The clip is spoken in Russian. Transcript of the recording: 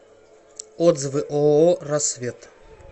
отзывы ооо рассвет